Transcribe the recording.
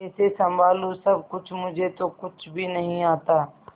कैसे संभालू सब कुछ मुझे तो कुछ भी नहीं आता